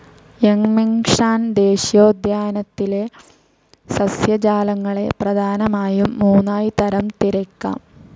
Yangmingshan ദേശീയോദ്യാനത്തിലെ സസ്യജാലങ്ങളെ പ്രധാനമായും മൂന്നായി തരം തിരിയ്ക്കാം.